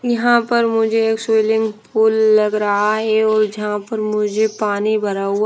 यहां पर मुझे एक स्विमिंग पूल लग रहा है। ये ओ जहां पर मुझे पानी भरा हुआ--